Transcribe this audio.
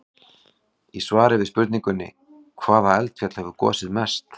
Í svari við spurningunni: Hvaða eldfjall hefur gosið mest?